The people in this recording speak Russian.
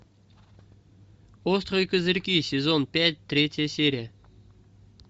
острые козырьки сезон пять третья серия